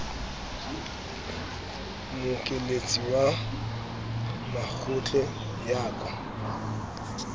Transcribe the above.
mmokelletsi wa matlole ya ka